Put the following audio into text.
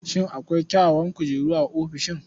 Shin akwai kyawawan kujeru a ofishin?